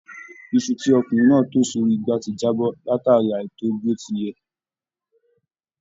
Iṣu tí ọkùnrin náà tò sórí ìgbà ti jábọ́ látáríi àìtò ó bí ó ti yẹ.